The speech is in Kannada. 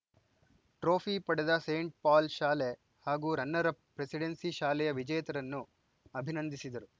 ಟ್ರೋಪಿ ಪಡೆದ ಸೇಂಟ್‌ ಪೌಲ್‌ ಶಾಲೆ ಹಾಗೂ ರನ್ನರ್‌ ಅಪ್‌ ಪ್ರೆಸಿಡೆನ್ಸಿ ಶಾಲೆಯ ವಿಜೇತರನ್ನು ಅಭಿನಂದಿಸಿದರು